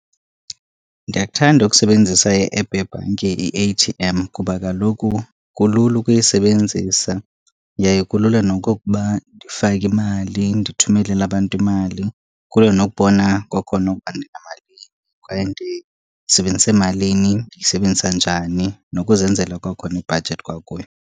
Ndiyakuthanda ukusebenzisa i-app yebhanki i-A_T_M. Kuba kaloku kulula ukuyisebenzisa yaye kulula nokokuba ndifake imali, ndithumelele abantu imali kuyo. Nokubona kwakhona ukuba ndinamalini kwaye ndisebenzise malini, ndiyisebenzisa njani. Nokuzenzela kwakhona ibhajethi kwakuyo.